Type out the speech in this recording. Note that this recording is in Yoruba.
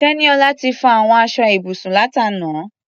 Tẹ́níọlá ti fọ àwọn aṣọ ibùsùn látàná.